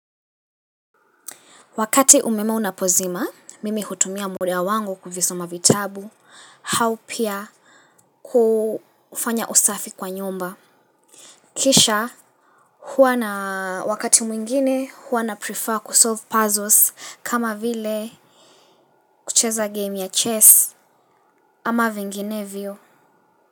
Wakati umeme unapozima, mimi hutumia muda wangu kuvisoma vitabu, haupia kufanya usafi kwa nyumba. Kisha, huwa na wakati mwingine huwa naprefer kusolve puzzles kama vile kucheza game ya chess ama vinginevyo.